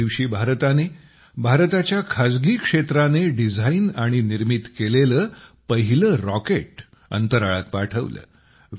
या दिवशी भारताने भारताच्या खाजगी क्षेत्राने डिझाइन आणि निर्मित केलेले पहिले रॉकेट अंतराळात पाठवले